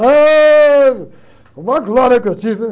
Ah, uma glória que eu tive, né?